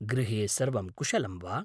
गृहे सर्वं कुशलं वा?